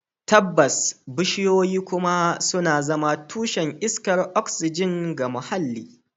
Tabbas, bishiyoyi kuma suna zama tushen iskar oxygen ga muhalli